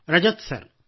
Rajat sir